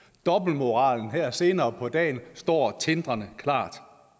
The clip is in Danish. dobbeltmoralen her senere på dagen står tindrende klar